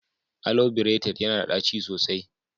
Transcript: Alo berated yana da ɗaci sosai.